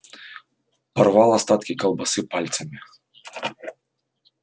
порвал остатки колбасы пальцами